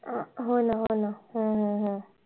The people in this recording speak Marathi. अं हो ना हो ना हम्म हम्म हम्म